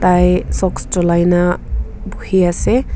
ai socks jolai na bohi ase.